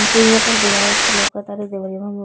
हमके यहाँ पर दीवार एकठो लोकतारे दिवलवा में --